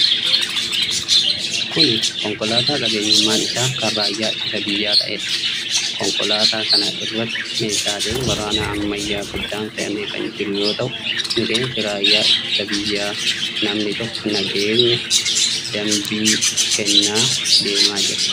Kun, konkolaataa qabeenyummaan isaa kan raayyaa ittisa biyyaa ta'ee dha. Konkolaataa kana irratti meeshaaleen waraanaa ammayyaa guddaan fe'amee kan jiru yoo ta'u, miseensi raayyaa ittisa biyyaa namni tokko nageenya dambii kennaa deemaa jira.